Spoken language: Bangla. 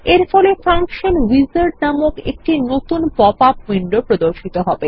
এরফলে ফাংশন উইজার্ড নামক একটি নতুন পপআপ উইন্ডো প্রর্দশিত হবে